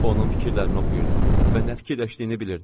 Onun fikirlərini oxuyurdum və nə fikirləşdiyini bilirdim.